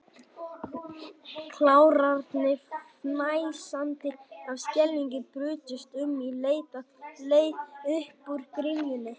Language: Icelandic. Klárarnir, fnæsandi af skelfingu, brutust um í leit að leið upp úr gryfjunni.